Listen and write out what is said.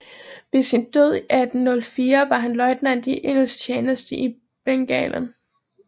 Ved sin død i 1804 var han løjtnant i engelsk tjeneste i Bengalen